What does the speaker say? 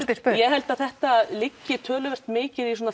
spurt ég held að þetta liggi töluvert mikið í